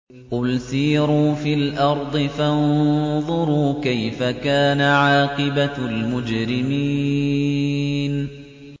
قُلْ سِيرُوا فِي الْأَرْضِ فَانظُرُوا كَيْفَ كَانَ عَاقِبَةُ الْمُجْرِمِينَ